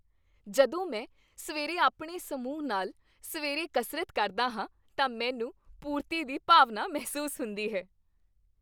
ਜਦੋਂ ਮੈਂ ਸਵੇਰੇ ਆਪਣੇ ਸਮੂਹ ਨਾਲ ਸਵੇਰੇ ਕਸਰਤ ਕਰਦਾ ਹਾਂ ਤਾਂ ਮੈਨੂੰ ਪੂਰਤੀ ਦੀ ਭਾਵਨਾ ਮਹਿਸੂਸ ਹੁੰਦੀ ਹੈ।